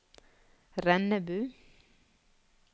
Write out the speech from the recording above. Rennebu